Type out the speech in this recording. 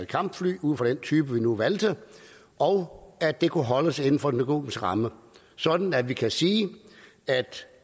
kampfly ud fra den type vi nu valgte og at det kunne holdes inden for den økonomiske ramme sådan at vi kan sige at